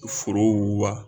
Foro wuguba